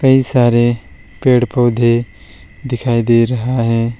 कई सारे पेड़ पौधे दिखाई दे रहा है।